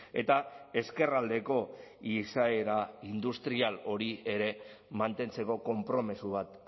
eta ezkerraldeko izaera industrial hori ere mantentzeko konpromiso bat